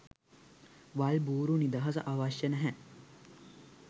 වල් බුරු නිදහස අවශ්‍ය නැහැ.